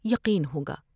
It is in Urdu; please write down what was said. یقین ہوگا ۔